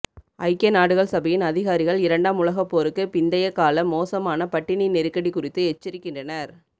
ஐக்கிய நாடுகள் சபையின் அதிகாரிகள் இரண்டாம் உலகப் போருக்கு பிந்தைய கால மோசமான பட்டினி நெருக்கடி குறித்து எச்சரிக்கின்றனர்